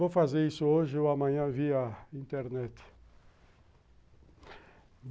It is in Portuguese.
Vou fazer isso hoje ou amanhã via internet.